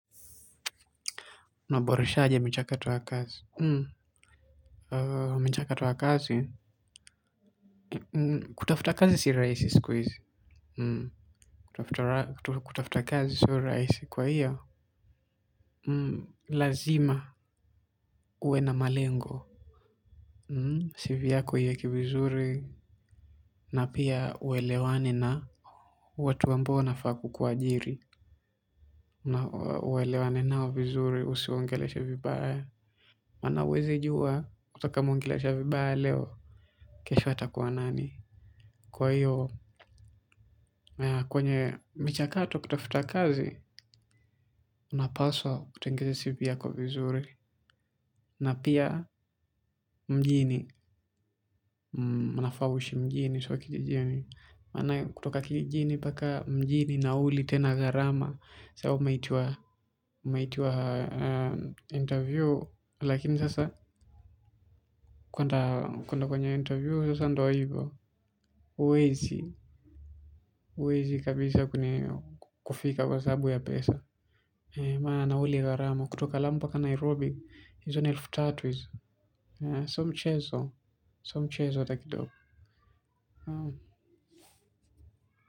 Unaboresha aje michakato ya kazi michakato ya kazi kutafuta kazi si rahisi siku hizi kutafuta kazi sio raisi kwa hiyo lazima uwe na malengo CV yako iweke vizuri na pia uelewane na watu ambao wanafaa kukuajiri na uelewane nao vizuri usiwaongeleshe vibaya maana huwezi jua utakayemuongelesha vibaya leo kesha atakuwa nani kwa hiyo kwenye michakato kutafuta kazi. Unapaswa kutengeza cv yako vizuri na pia mjini unafaa uishi mjini sio kikijini maana kutoka kikijini mjini nauli tena gharama saa hiyo umeitiwa interview lakini sasa kuenda kwenye interview huwezi kabisa kufika kwa sababu ya pesa maana nauli gharama kutoka lamu mpaka Nairobi hizo ni elfu tatu hizo sio mchezo sio mchezo hata kidogo.